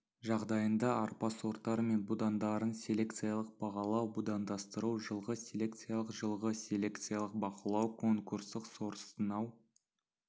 жағдайында арпа сорттары мен будандарын селекциялық бағалау будандастыру жылғы селекциялық жылғы селекциялық бақылау конкурстық сортсынау